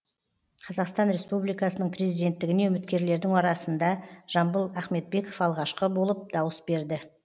қазақстан республикасының президенттігіне үміткерлердің арасында жамбыл ахметбеков алғашқы болып дауыс берді